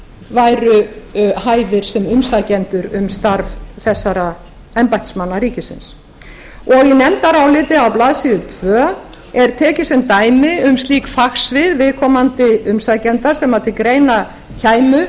væru hæfir sem umsækjendur um þetta starf embættismanna ríkisins í nefndaráliti á blaðsíðu tvö er tekið sem dæmi um slík fagsvið viðkomandi umsækjenda sem til greina kæmu